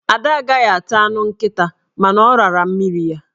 Ada agaghị ata anụ nkịta, mana ọ rara mmiri ya.